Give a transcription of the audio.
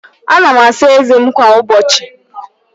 Ana m asa ezé m kwa ụbọchị.